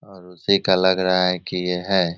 और उसी का लग रहा है की ये है।